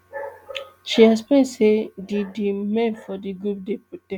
she explain say di di men for di group dey protect